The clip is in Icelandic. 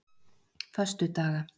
föstudaga